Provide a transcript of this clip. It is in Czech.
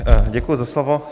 Děkuji za slovo.